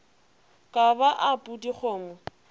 ka ba a pudi kgomo